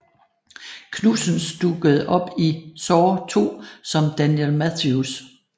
Knudsens dukkede op i Saw II som Daniel Matthews